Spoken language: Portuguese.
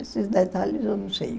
Esses detalhes eu não sei.